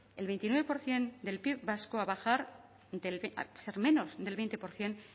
el veintinueve por ciento del pib vasco a bajar a ser menos del veinte por ciento